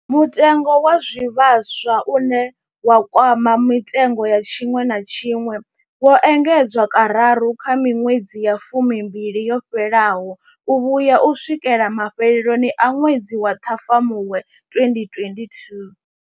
Mutengo wa zwivhaswa, une wa kwama mitengo ya tshiṅwe na tshiṅwe, wo engedzwa kararu kha miṅwedzi ya fumimbili yo fhelaho u vhuya u swikela mafheloni a ṅwedzi wa Ṱhafamuhwe 2022.